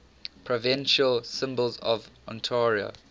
provincial symbols of ontario